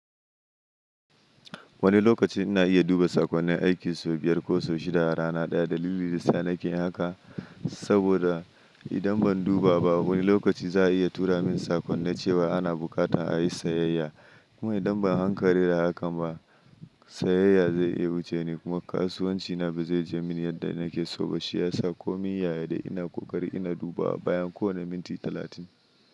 Wani lokaci ina iya duba saƙonnin aiki sau biyar ko sau shida a rana daya. Dalili yasa nake haka saboda idan ban duba ba wani lokaci za a iya tura min saƙon na cewa ana buƙata a yi sayayya. Kuma idan ban hankali da haka ba sayayya zai iya wuce ni kuma kasuwancina ba zai je mini yadda nake so ba. Shi ya sa ko min yaya dai ina ƙoƙari ina duba bayan kowane minti talatin.